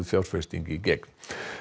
fjárfesting í gegn